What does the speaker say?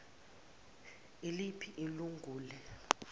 iliphi ilun gule